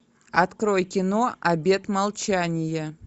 открой кино обет молчания